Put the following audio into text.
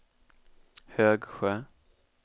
Högsjö